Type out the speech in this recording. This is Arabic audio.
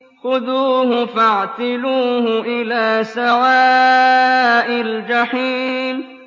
خُذُوهُ فَاعْتِلُوهُ إِلَىٰ سَوَاءِ الْجَحِيمِ